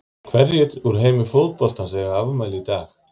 Hverjir úr heimi fótboltans eiga afmæli í dag?